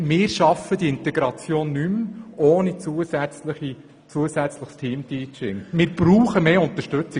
Ohne zusätzliches Teamteaching schaffen wir die Integration nicht mehr, und wir brauchen mehr Unterstützung.